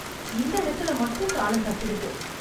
இந்த இடத்துலே மட்டும் தாளம் தப்பிடுது.